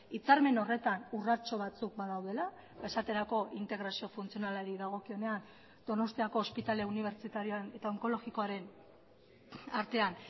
hitzarmen horretan urratxo batzuk badaudela esaterako integrazio funtzionalari dagokionean donostiako ospitale unibertsitarioan eta onkologikoaren artean